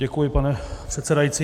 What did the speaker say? Děkuji, pane přesedající.